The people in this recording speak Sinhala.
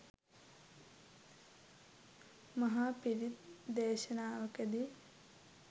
මහ පිරිත් දේශනාවකදී